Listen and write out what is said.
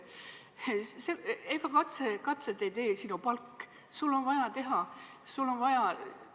Ega katseid ei tee sinu palk, sul on vaja teha eksperimente jms.